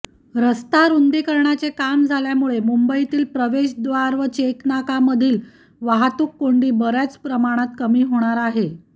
रस्ता रुंदीकरणाचे काम झाल्यामुळे मुंबईतील प्रवेशद्वार व चेकनाकामधील वाहतूककोंडी बऱ्याच प्रमाणात कमी होणार आहे